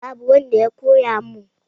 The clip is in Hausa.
Babu wanda ya koya mun